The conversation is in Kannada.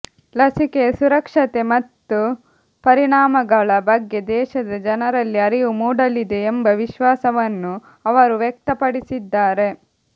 ಲಸಿಕೆಯ ಸುರಕ್ಷತೆ ಮತ್ತು ಪರಿಣಾಮಗಳ ಬಗ್ಗೆ ದೇಶದ ಜನರಲ್ಲಿ ಅರಿವು ಮೂಡಲಿದೆ ಎಂಬ ವಿಶ್ವಾಸವನ್ನು ಅವರು ವ್ಯಕ್ತಪಡಿಸಿದ್ದಾರೆ